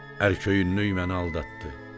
Ərköyünlük məni aldatdı.